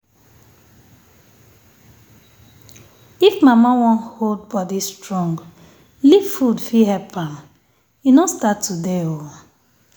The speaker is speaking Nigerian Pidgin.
if mama wan hold body strong leaf food fit help am. e no start today o